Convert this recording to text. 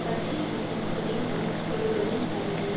பசி என்னும் கொடிய நோய் தொடுவதும் அரிது